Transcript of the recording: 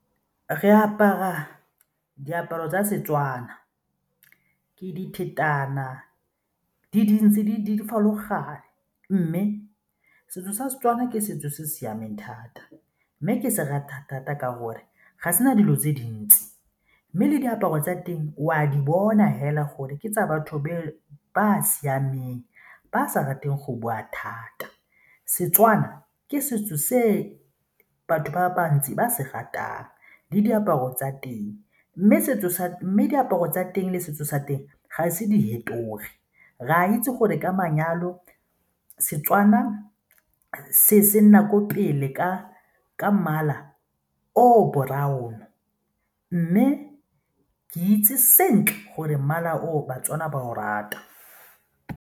Re apara diaparo tsa Setswana, ke diphetana, di dintsi di mme setso sa Setswana ke setso se se siameng thata mme ke se rata thata ka gore ga se na dilo tse dintsi mme le diaparo tsa teng o a di bona fela gore ke tsa batho ba siameng ba sa rateng go bua thata. Setswana ke setso se batho ba bantsi ba se ratang le diaparo tsa teng mme diaparo tsa teng le setso sa teng ga e ise di fetoge, re a itse gore ka manyalo Setswana se nna ko pele ka ka mmala o brown mme ke itse sentle gore mmala oo baTswana ba o rata.